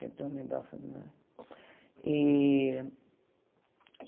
Tentando lembrar o sobrenome. E